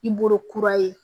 I bolo kura ye